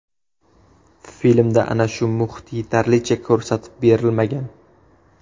Filmda ana shu muhit yetarlicha ko‘rsatib berilmagan.